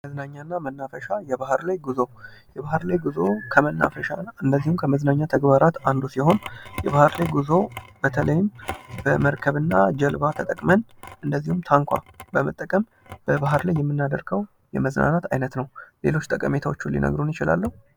መዝናኛና መናፈሻ የባህር ላይ ጉዞ የባህር ላይ ጉዞ ከመናፈሻ እና እንዲሁም ከመዝናኛ ተግባራት አንዱ ሲሆን፤ የባህር ላይ ጉዞ በተለይም በመርከብና ጀልባ ተጠቅመን እንደዚሁም ታንኳ በመጠቀምም በባህር ላይ የምናደርገው የመዝናናት አይነት ነው። ሌሎች ጠቀሜታዎቹን ሊነግሩን ይችላሉ።